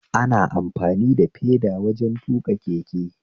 Ana amfani da feda wajen tuƙa keke